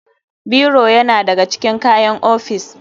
Biro yana da ga cikin kayan ofis.